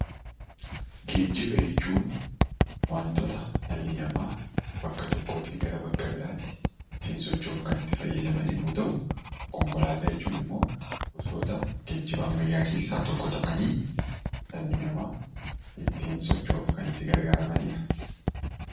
Geejjiba jechuun waantota dhalli namaa bakka tokkootii gara bakka biraatti ittiin socho'uuf kan itti fayyadaman yommuu ta'u, konkolaataa jechuun immoo gosoota geejjiba ammayyaa keessaa tokko ta'anii dhalli namaa ittiin socho'uuf kan itti gargaaramani dha.